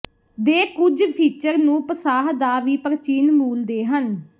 ਦੇ ਕੁਝ ਫੀਚਰ ਨੂੰ ਪਸਾਹ ਦਾ ਵੀ ਪ੍ਰਾਚੀਨ ਮੂਲ ਦੇ ਹਨ